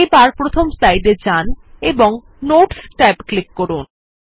এবার প্রথম স্লাইডে যান এবং নোটস ট্যাব এ ক্লিক করুন